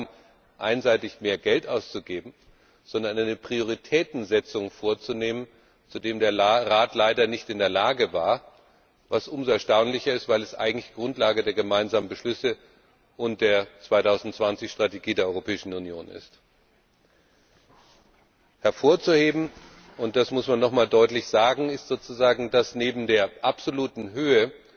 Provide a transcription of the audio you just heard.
EUR zu erreichen, nicht darum, einseitig mehr Geld auszugeben, sondern eine Prioritätensetzung vorzunehmen, zu der der Rat leider nicht in der Lage war, was umso erstaunlicher ist, weil dies eigentlich Grundlage der gemeinsamen Beschlüsse und der 2020 Strategie der Europäischen Union ist. Hervorzuheben, und das muss man nochmals deutlich sagen, ist sozusagen, dass es neben der absoluten Höhe